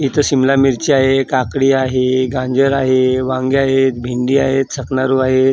इथे सिमला मिरची आहे काकडी आहे गाजर आहे वांगे आहेत भेंडी आहेत आहेत.